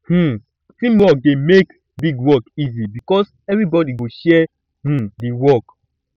um teamwork dey make big work easy because everybody go share um di um work